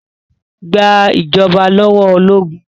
Gba ìjọba lọ́wọ́ ológun!